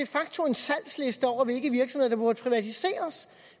salgsliste over hvilke virksomheder der burde privatiseres